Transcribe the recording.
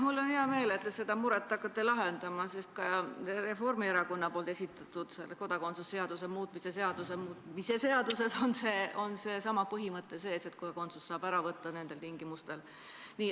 Mul on hea meel, et te seda muret hakkate lahendama, sest ka Reformierakonna poolt esitatud kodakondsuse seaduse muutmise seaduses on seesama põhimõte sees, et kodakondsust saab ära võtta nendel tingimustel.